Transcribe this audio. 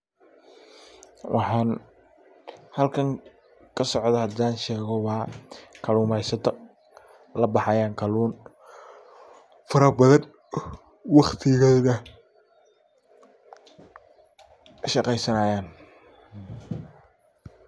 Waxan halkan kasocda hadan shego waa kalumeysato. Labahayan kalun faro badan waqtigeda shaqeysanayan .